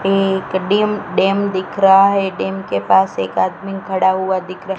एक डिम डेम दिख रहा है डेम के पास एक आदमी खड़ा हुआ दिख र--